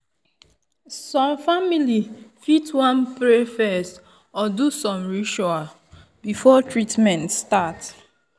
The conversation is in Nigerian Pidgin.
some family fit wan pray first or do some ritual before treatment start.